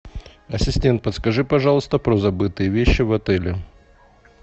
ассистент подскажи пожалуйста про забытые вещи в отеле